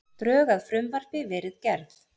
Drög að frumvarpi verið gerð